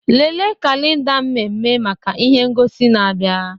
Lelee kalenda mmemme maka ihe ngosi na-abịa.